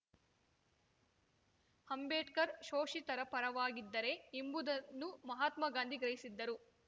ಅಂಬೇಡ್ಕರ್‌ ಶೋಷಿತರ ಪರವಾಗಿದ್ದರೆ ಎಂಬುದನ್ನು ಮಹಾತ್ಮಗಾಂಧಿ ಗ್ರಹಿಸಿದ್ದರು